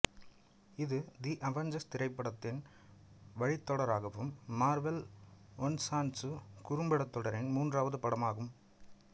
இது the Avengers திரைப்படத்தின் வழித்தொடராகவும் மார்வெல் ஒன்சாட்சு குறும்படத் தொடரின் மூன்றாவது படமும் ஆகும்